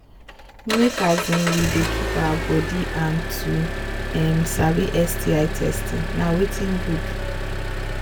make um we they keep our body and to um sabi sti testing na watin good